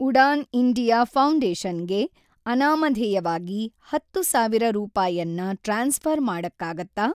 Udan India foundation ಗೆ ಅನಾಮಧೇಯವಾಗಿ ಹತ್ತು ಸಾವಿರ ರೂಪಾಯನ್ನ ಟ್ರಾನ್ಸ್‌ಫ಼ರ್‌ ಮಾಡಕ್ಕಾಗತ್ತಾ?